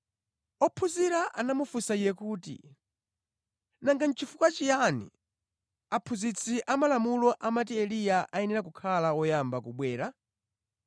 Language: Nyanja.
Ophunzira anamufunsa Iye kuti, “Nanga nʼchifukwa chiyani aphunzitsi amalamulo amati Eliya ayenera kukhala woyamba kubwera?”